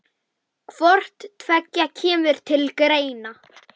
Hvort tveggja kemur til greina.